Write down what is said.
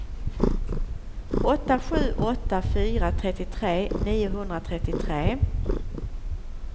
åtta sju åtta fyra trettiotre niohundratrettiotre